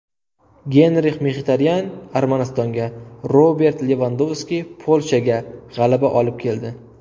Genrix Mxitaryan Armanistonga, Robert Levandovski Polshaga g‘alaba olib keldi.